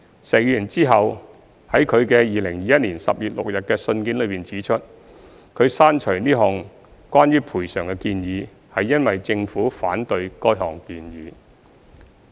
石議員之後在其2021年10月6日的信件中指出，他刪除此項關於賠償的建議，是因為政府反對該項建議。